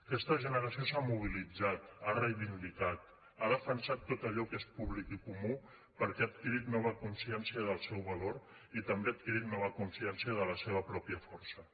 aquesta generació s’ha mobilitzat ha reivindicat ha defensat tot allò que és públic i comú perquè ha adquirit nova consciència del seu valor i també ha adquirit nova consciència de la seva pròpia força